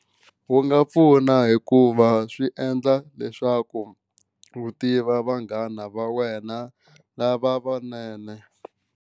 Wu nga pfuna hikuva swi endla leswaku u tiva vanghana va wena lava vanene.